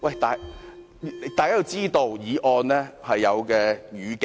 大家要知道，議案是有語境的。